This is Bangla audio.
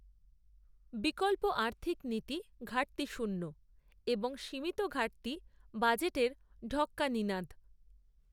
বিকল্প আর্থিক নীতি ঘাটতিশূন্য, এবং সীমিত ঘাটতি বাজেটের ঢক্কা নিনাদ